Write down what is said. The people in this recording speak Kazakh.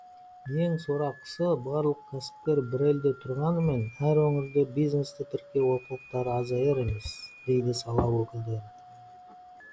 ең сорақысы барлық кәсіпкер бір елде тұрғанымен әр өңірде бизнесті тіркеу олқылықтары азаяр емес дейді сала өкілдері